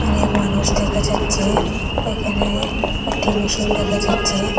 অনেক মানুষ দেখা যাচ্ছে এখানে একটি মেশিন দেখা যাচ্ছে।